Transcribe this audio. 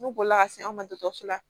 Ne bolila ka se an ma dɔgɔtɔrɔso la